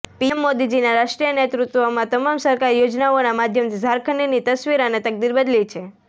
PM મોદીજીના રાષ્ટ્રીય નેતૃત્વમાં તમામ સરકારી યોજનાઓના માધ્યમથી ઝારખંડની તસ્વીર અને તકદીર બદલી છે